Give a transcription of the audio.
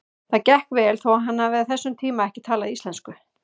Það gekk vel þó hann hafi á þessum tíma ekki talað íslensku.